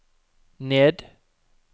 ned